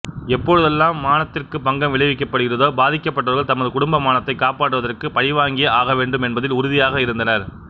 எப்பொழுதெல்லாம் மானத்திற்கு பங்கம் விளைவிக்கப்படுகிறதோ பாதிக்கப்பட்டவா்கள் தமது குடும்ப மானத்தைக் காப்பாற்றுவதற்கு பழிவாங்கியே ஆக வேண்டும் என்பதில் உறுதியாக இருந்தனா்